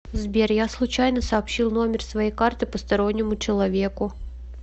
сбер я случайно сообщил номер своей карты постороннему человеку